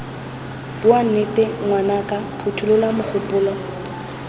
bua nnete ngwanaka phothulola mogopolo